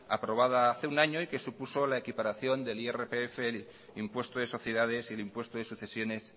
aprobada hace un año y que supuso la equiparación del irpf impuesto de sociedades y el impuesto de sucesiones